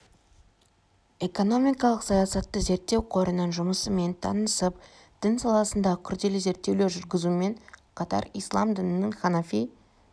экономикалық саясатты зерттеу қорының жұмысымен танысып дін саласындағы күрделі зерттеулер жүргізумен қатар ислам дінінің ханафи